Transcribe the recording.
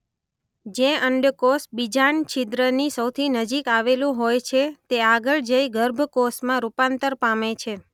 જે અંડકોષ બીજાંડ છીદ્રની સૌથી નજીક આવેલું હોય છે તે આગળ જઈ ગર્ભ કોષમાં રૂપાંતર પામે છે.